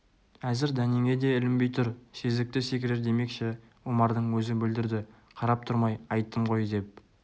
әзір дәнеңе де ілінбей тұр сезікті секірер демекші омардың өзі бүлдірді қарап тұрмай айттым ғой деп